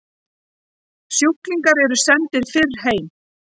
Sjúklingar eru sendir fyrr heim